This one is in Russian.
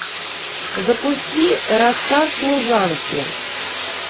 запусти рассказ служанки